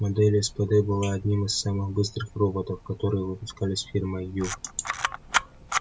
модель спд была одним из самых быстрых роботов которые выпускались фирмой ю